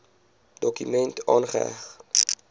dokument aangeheg